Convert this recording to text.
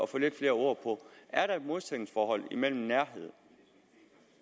få lidt flere ord på er der et modsætningsforhold mellem nærhed